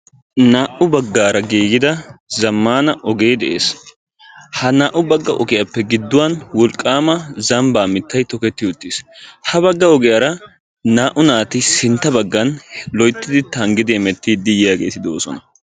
Naa'u baggaara giigida zammaana ogee de'es. Ha naa'u bagga ogiyappe gidduwan wolqqaama zambbaa mittayi toketti uttis. Ha bagga ogiyara sintta baggan loyttidi tanggi hemettiiddi yiyageeti de'oosona.